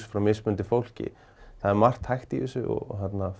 frá mismunandi fólki það er margt hægt í þessu og